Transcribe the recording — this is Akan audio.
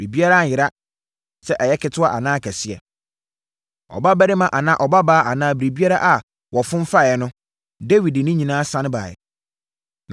Biribiara anyera: sɛ ɛyɛ ketewa anaa kɛseɛ, ɔbabarima anaa ɔbabaa anaa biribiara a wɔfom faeɛ no, Dawid de ne nyinaa sane baeɛ.